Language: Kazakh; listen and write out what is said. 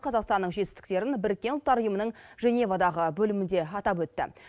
қазақстанның жетістіктерін біріккен ұлттар ұйымының женевадағы бөлімінде атап өтті